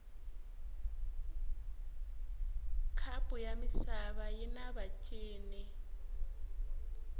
khapu yamisava yinavatjini